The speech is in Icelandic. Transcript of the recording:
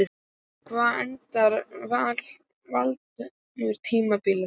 Hvar endar Valur tímabilið?